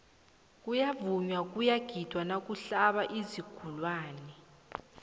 kuyavunywa kuyagidwa nakuhlaba iinzukulwani